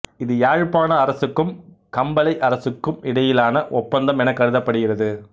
இது யாழ்ப்பாண அரசுக்கும் கம்பளை அரசுக்கும் இடையிலான ஒப்பந்தம் எனக் கருதப்படுகிறது